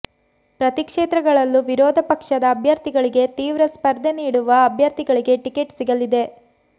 ಪ್ರತೀ ಕ್ಷೇತ್ರಗಳಲ್ಲೂ ವಿರೋಧ ಪಕ್ಷದ ಅಭ್ಯರ್ಥಿಗಳಿಗೆ ತೀವ್ರ ಸ್ಪರ್ಧೆ ನೀಡುವ ಅಭ್ಯರ್ಥಿಗಳಿಗೆ ಟಿಕೆಟ್ ಸಿಗಲಿದೆ